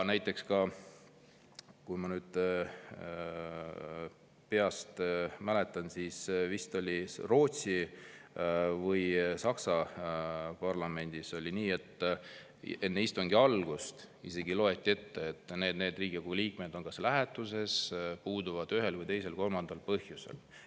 Näiteks, kui ma nüüd peast mäletan, siis vist oli Rootsi või Saksa parlamendis nii, et enne istungi algust isegi loeti ette, et need ja need liikmed on lähetuses, puuduvad ühel, teisel või kolmandal põhjusel.